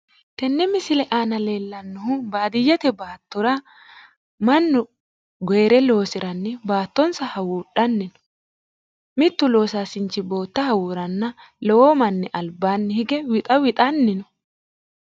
Tenne misile aana leellannohu baadiyyete baattora mannu goyiite loosiranni baattonsa hawuudhanni mittu loosaasinchi bootta hawuuranna lowo manni albaanni hige wixa wixanni no.